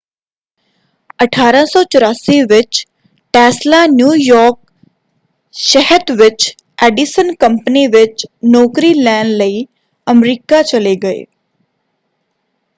1884 ਵਿੱਚ Tesla New York ਸ਼ਹਿਤ ਵਿੱਚ ਐਡੀਸਨ ਕੰਪਨੀ ਵਿੱਚ ਨੌਕਰੀ ਲੈਣ ਲਈ ਅਮਰੀਕਾ ਚਲੇ ਗਏ।